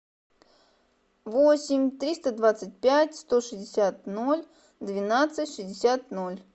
восемь триста двадцать пять сто шестьдесят ноль двенадцать шестьдесят ноль